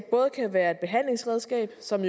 både kan være et behandlingsredskab som